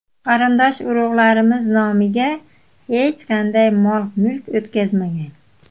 Qarindosh-urug‘larimiz nomiga hech qanday mol-mulk o‘tkazmagan.